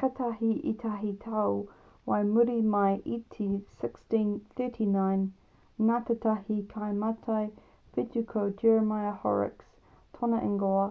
kātahi ētahi tau whai muri mai i te 1639 nā tētahi kaimātai whetū ko jeremiah horrocks tōna ingoa